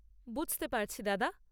বুঝতে পারছি দাদা।